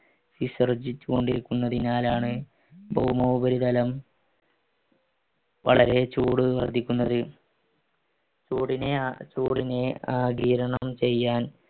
വിസർജിച്ചുകൊണ്ടിരിക്കുന്നതിനാലാണ് ഭൗമോപരിതലം വളരെ ചൂട് വർദ്ധിക്കുന്നത് ചൂടിനെ ആഗീരണം ചെയ്യാൻ